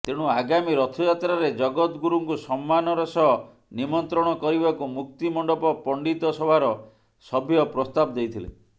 ତେଣୁ ଆଗାମୀ ରଥଯାତ୍ରାରେ ଜଗତଗୁରୁଙ୍କୁ ସମ୍ମାନର ସହ ନିମତ୍ରଣ କରିବାକୁ ମୁକ୍ତିମଣ୍ଡପ ପଣ୍ଡିତସଭାର ସଭ୍ୟ ପ୍ରସ୍ତାବ ଦେଇଥିଲେ